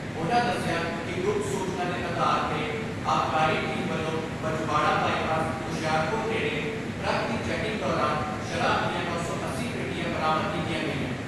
ਉਨ੍ਹਾਂ ਦਸਿਆ ਕਿ ਗੁਪਤ ਸੂਚਨਾ ਦੇ ਆਧਾਰ 'ਤੇ ਆਬਕਾਰੀ ਟੀਮ ਵੱਲੋਂ ਬਜਵਾੜਾ ਬਾਈਪਾਸ ਹੁਸ਼ਿਆਰਪੁਰ ਨੇੜੇ ਟਰੱਕ ਦੀ ਚੈਕਿੰਗ ਦੌਰਾਨ ਸ਼ਰਾਬ ਦੀਆਂ ਨੌਂ ਸੌ ਅੱਸੀ ਪੇਟੀਆਂ ਬਰਾਮਦ ਕੀਤੀਆਂ ਗਈਆਂ।